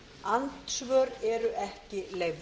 andsvör eru ekki leyfð